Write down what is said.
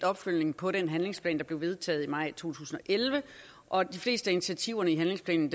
opfølgning på den handlingsplan der blev vedtaget i maj to tusind og elleve og de fleste af initiativerne i handlingsplanen